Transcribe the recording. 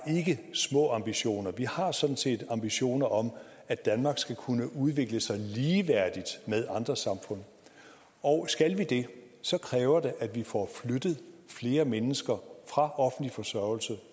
ikke små ambitioner vi har sådan set ambitioner om at danmark skal kunne udvikle sig ligeværdigt med andre samfund og skal det det så kræver det at vi får flyttet flere mennesker fra offentlig forsørgelse